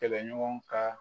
Kɛlɛɲɔgɔn ka